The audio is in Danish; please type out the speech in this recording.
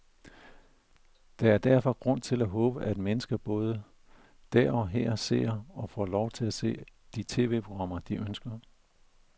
Der er derfor grund til at håbe, at mennesker både der og her ser, og får lov til at se, de tv-programmer, de ønsker.